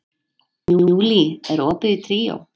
Júlí, er opið í Tríó?